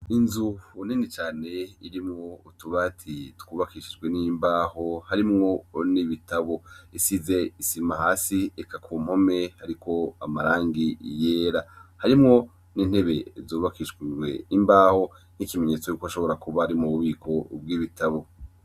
Inzu nini cane irimwo harimwo utubati twubakishijwe n'imbaho harimwo n'ibitabo. Isize isima hasi eka ku mpome hariko amarangi yera. Harimwo n'intebe zubakishijwe imbaho nk'ikimenyetso c'uko hashobora kuba ari mu bubiko bw'ibitabo.